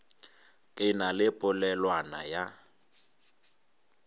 ke na le polelwana ya